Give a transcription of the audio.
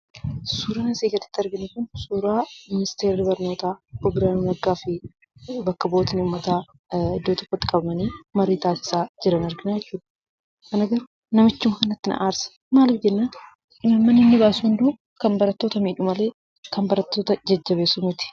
Suuraan asii gaditti arginu kun suuraa ministeerri barnootaa obbo Biraanuu Naggaafi bakka bu'ootni uummata iddoo tokkotti qabamanii marii taasisaa jiran argina jechuudha. Ana garuu namichuma kanarratti na aarsa. Maaliif jennaan imaammanni inni baasu hunduu kan barattoota miidhu malee kan barattoota jajjabeessu miti.